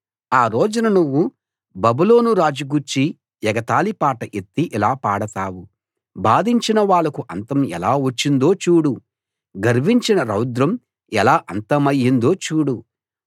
ఆ రోజున నువ్వు బబులోను రాజు గూర్చి ఎగతాళి పాట ఎత్తి ఇలా పాడతావు బాధించిన వాళ్లకు అంతం ఎలా వచ్చిందో చూడు గర్వించిన రౌద్రం ఎలా అంతమయ్యిందో చూడు